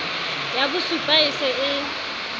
ya bosupa e se e